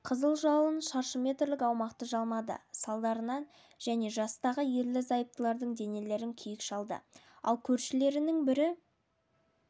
қызыл жалын шаршы метрлік аумақты жалмады салдарынан және жастағы ерлі-зайыптылардың денелерін күйік шалды ал көршілерінің бір